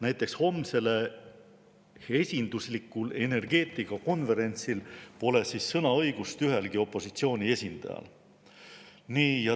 Näiteks homsel esinduslikul energeetikakonverentsil pole sõnaõigust ühelgi opositsiooni esindajal.